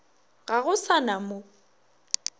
ga go sa na mo